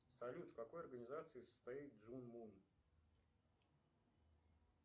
салют в какой организации состоит джун мун